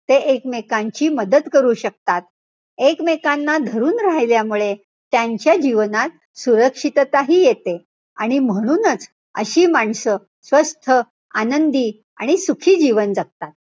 ते एकमेकांची मदत करू शकतात. एकमेकांना धरून राहिल्यामुळे त्यांच्या जीवनात सुरक्षितताही येते. आणि म्हणूनच अशी माणसं, स्वस्थ, आनंदी आणि सुखी जीवन जगतात.